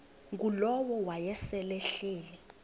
ngulowo wayesel ehleli